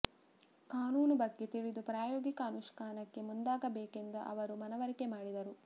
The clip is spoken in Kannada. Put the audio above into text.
ಕಾನೂನು ಬಗ್ಗೆ ತಿಳಿದು ಪ್ರಾಯೋಗಿಕ ಅನುಷ್ಠಾನಕ್ಕೆ ಮುಂದಾಗಬೇಕೆಂದು ಅವರು ಮನವರಿಕೆ ಮಾಡಿದರು